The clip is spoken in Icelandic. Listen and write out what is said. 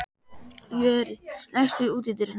Jörri, læstu útidyrunum.